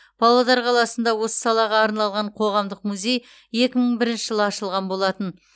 павлодар қаласында осы салаға арналған қоғамдық музей екі мың бірінші жылы ашылған болатын